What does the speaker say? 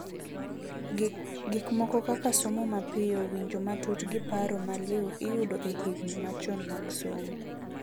Gik moko kaka somo mapio, winjo matut gi paro maliu iyudo e higni machon mag somo.